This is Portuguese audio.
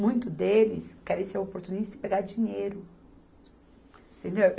Muito deles querem ser oportunistas e pegar dinheiro, você entendeu?